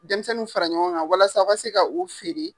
Denmisɛnninw fara ɲɔgɔn kan walasa a ka se ka o feere.